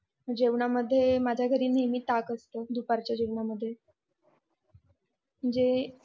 जेवण यामध्ये माझ्या घरी नेहमी ताक असत दुपारच्या जेवण मध्ये